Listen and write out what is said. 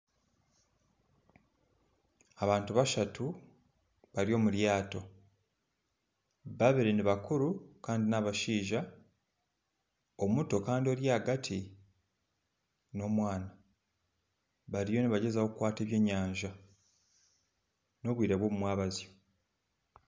Abantu bashatu bari omuryato babiri nibakuru kandi nabashaija omuto Kandi Ori ahagati n'omwana bariyo nibagyezaho kukwata ebyenyanja n'obwire bw'omumwabazyo